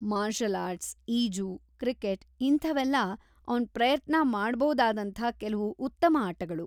Marshal arts, ಈಜು, cricket, ಇಂಥವೆಲ್ಲ ಅವ್ನ್ ಪ್ರಯತ್ನ ಮಾಡ್ಬೋದಾದಂಥ ಕೆಲ್ವು ಉತ್ತಮ ಆಟಗಳು.